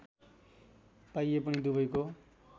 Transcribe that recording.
पाइए पनि दुबैको